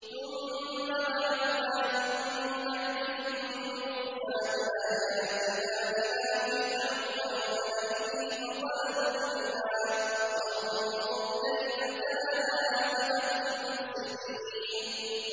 ثُمَّ بَعَثْنَا مِن بَعْدِهِم مُّوسَىٰ بِآيَاتِنَا إِلَىٰ فِرْعَوْنَ وَمَلَئِهِ فَظَلَمُوا بِهَا ۖ فَانظُرْ كَيْفَ كَانَ عَاقِبَةُ الْمُفْسِدِينَ